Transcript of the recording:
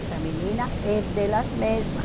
Essa menina é delas mesma.